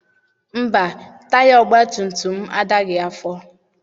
Mba, taya ọgbatumtum m adaghị afọ.